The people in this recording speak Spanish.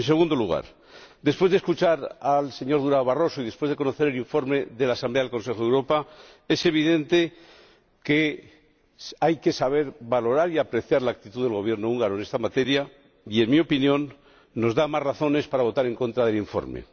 En segundo lugar, tras escuchar al señor Durão Barroso y después de conocer el informe de la Asamblea del Consejo de Europa, es evidente que hay que saber valorar y apreciar la actitud del Gobierno húngaro en esta materia y, en mi opinión, nos da más razones para votar en contra del informe.